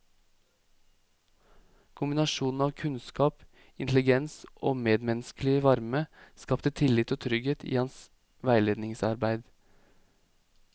Kombinasjonen av kunnskap, intelligens og medmenneskelig varme skapte tillit og trygghet i hans veiledningsarbeid.